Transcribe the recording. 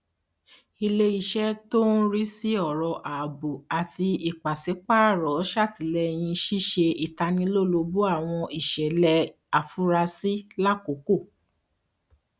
ilé iṣẹ tó ń rí sí ọrọ ààbò àti ìpàsípààrọ ṣàtìlẹyìn ṣíṣe ìtanilólobó àwọn ìṣẹlẹ àfurasí lákòókò